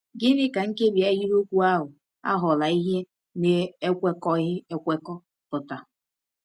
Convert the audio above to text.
Gịnị ka nkebi ahịrịokwu ahụ “aghọla ihe na-ekwekọghị ekwekọ” pụtara?